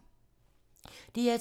DR2